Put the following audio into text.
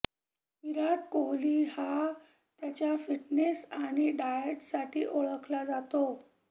विराट कोहली हा त्याच्या फिटनेस आणि डाएटसाठी ओळखला जातो